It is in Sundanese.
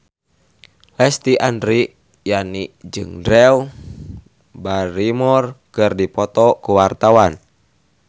Lesti Andryani jeung Drew Barrymore keur dipoto ku wartawan